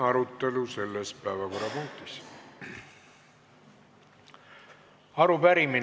Lõpetan selle päevakorrapunkti arutelu.